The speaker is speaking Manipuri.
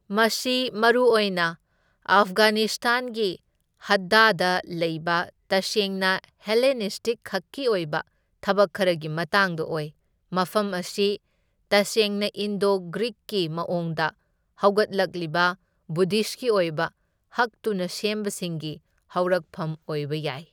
ꯃꯁꯤ ꯃꯔꯨꯑꯣꯏꯅ ꯑꯐꯒꯥꯅꯤꯁꯇꯥꯟꯒꯤ ꯍꯗꯗꯥꯗ ꯂꯩꯕ ꯇꯁꯦꯡꯅ ꯍꯦꯂꯦꯅꯤꯁ꯭ꯇꯤꯛꯈꯛꯀꯤ ꯑꯣꯏꯕ ꯊꯕꯛ ꯈꯔꯒꯤ ꯃꯇꯥꯡꯗ ꯑꯣꯏ, ꯃꯐꯝ ꯑꯁꯤ ꯇꯁꯦꯡꯅ ꯏꯟꯗꯣ ꯒ꯭ꯔꯤꯛꯀꯤ ꯃꯑꯣꯡꯗ ꯍꯧꯒꯠꯂꯛꯂꯤꯕ ꯕꯨꯙꯤꯁꯠꯀꯤ ꯑꯣꯏꯕ ꯍꯛꯇꯨꯅ ꯁꯦꯝꯕꯁꯤꯡꯒꯤ ꯍꯧꯔꯛꯐꯝ ꯑꯣꯏꯕ ꯌꯥꯏ꯫